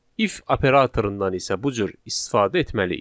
If operatorundan isə bu cür istifadə etməliyik.